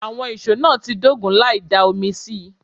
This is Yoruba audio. Àwọn ìşó náà ń dógun láì dá omi sí i